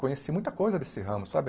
Conheci muita coisa desse ramo, sabe?